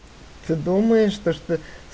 ты думаешь то что